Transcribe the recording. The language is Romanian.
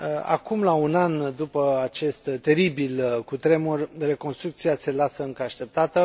acum, la un an după acest teribil cutremur, reconstrucția se lasă încă așteptată.